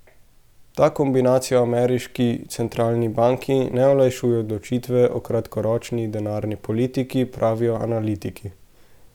Ta kombinacija ameriški centralni banki ne olajšuje odločitve o kratkoročni denarni politiki, pravijo analitiki.